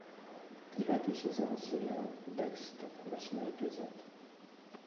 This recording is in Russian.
девятый сезон сериал декстер восьмой эпизод